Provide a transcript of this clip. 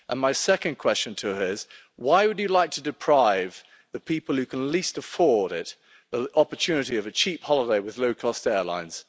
And my second question to her is why would you like to deprive the people who can least afford it the opportunity of a cheap holiday with low-cost airlines?